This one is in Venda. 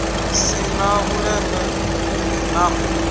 si na vhuleme na u